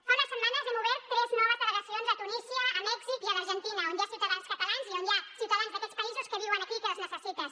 fa unes setmanes hem obert tres noves delegacions a tunísia a mèxic i a l’argentina on hi ha ciutadans catalans i on hi ha ciutadans d’aquests països que viuen aquí i que les necessiten